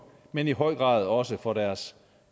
men i høj grad også for deres